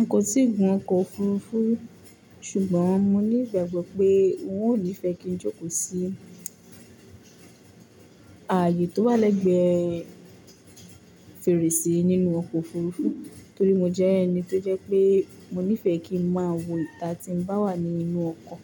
N kò tíì gun ọkọ̀ òfurufú, ṣùgbọ́n mo ní ìgbàgbọ́ pé n ò ní fẹ́ kí n jókòó sí ààyè tó wà lẹ́gbẹ̀ẹ́ fèrèsé nínú ọkọ̀ òfurufú, torí mo jẹ́ ẹni tó jẹ́ pé mo níìfẹ́ kí ń máa wo ìta tí m bá wà ní inú ọkọ̀,